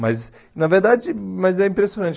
Mas, na verdade, mas é impressionante.